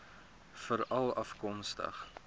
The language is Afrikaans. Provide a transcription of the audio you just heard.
veralafkomstig